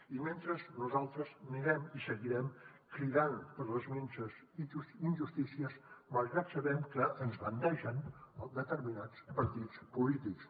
i mentrestant nosaltres seguirem cridant per les minses injustícies malgrat que sabem que ens bandegen determinats partits polítics